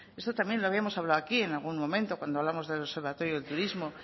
esto también lo habíamos hablado aquí en algún momento cuando hablamos del observatorio del turismo